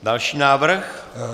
Další návrh?